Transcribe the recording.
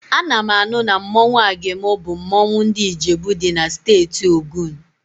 Ana m anụ na mmanwụ Agemo bụ mmanwụ ndị Ijebu dị na Steeti Ogun